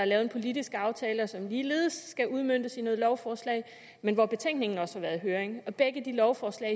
lavet en politisk aftale som ligeledes skal udmøntes i lovforslag men hvor betænkningen også har været i høring begge de lovforslag